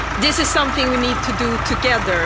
This is something we need to do together.